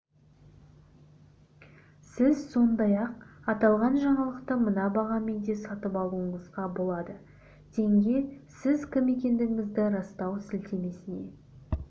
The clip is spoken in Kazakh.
сіз сондай-ақ аталған жаңалықты мына бағамен де сатып алуыңызға болады теңге сіз кім екендігіңізді растау сілтемесіне